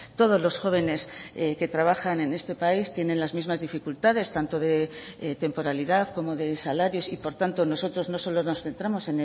todos los jóvenes que trabajan en este país tienen las mismas dificultades tanto de temporalidad como de salarios y por tanto nosotros no solo nos centramos